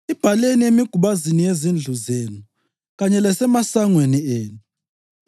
Ibhaleni emigubazini yezindlu zenu kanye lasemasangweni enu.